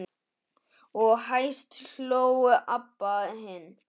Og hæst hló Abba hin.